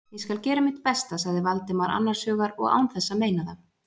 Ég skal gera mitt besta- sagði Valdimar annars hugar og án þess að meina það.